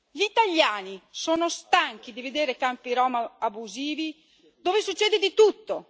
Gli italiani sono stanchi di vedere campi rom abusivi dove succede di tutto